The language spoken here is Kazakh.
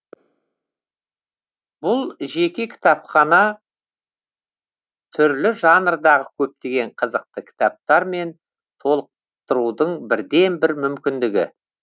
бұл жеке кітапхана түрлі жанрдағы көптеген қызықты кітаптармен толықтырудың бірден бір мүмкіндігі